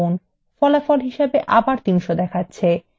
আবার ফল ৩০০ দেখাচ্ছে